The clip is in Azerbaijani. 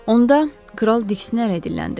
Onda, kral diksinərək dilləndi.